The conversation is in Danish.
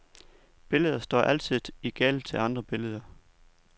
Billeder står altid i gæld til andre billeder.